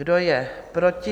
Kdo je proti?